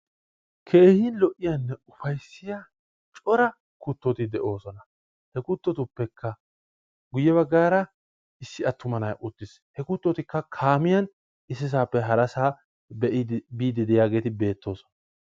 Keehi lo''iyanne ufayssiya cora kuttoti de'oosona. He kuttotuppekka guye baggaara issi attuma na'ay uttiis. He kuttotikka kaamiyan issisaappe harasaa biidi diyageeti bettoosona.